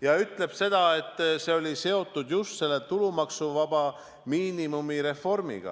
ja ütleb, et see oli seotud just selle tulumaksuvaba miinimumi reformiga.